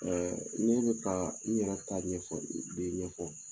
ne bɛka n yɛrɛ ta ɲɛfɔ de ɲɛfɔ